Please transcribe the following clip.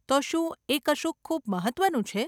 તો શું એ કશુંક ખૂબ મહત્વનું છે?